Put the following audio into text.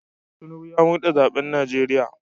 Tinubu ya murde zaben Najeriya."